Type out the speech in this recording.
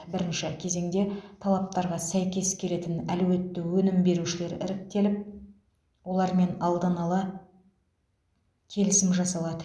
бірінші кезеңде талаптарға сәйкес келетін әлеуетті өнім берушілер іріктеліп олармен алдын ала келісім жасалады